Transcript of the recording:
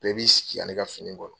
Bɛɛ b'i sigi ka ne ka fini kɔnɔ.